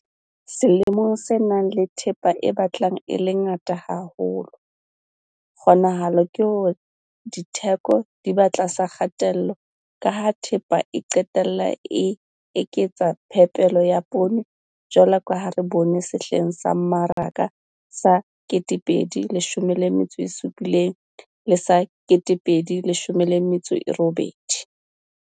Selemong se nang le thepa e batlang e le ngata haholo, kgonahalo ke hore ditheko di ba tlasa kgatello ka ha thepa e qetellang e eketsa phepelo ya poone jwalo ka ha re bone sehleng sa mmaraka sa 2017-2018.